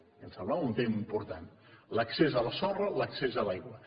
i em sembla un tema important l’accés a la sorra l’accés a l’aigua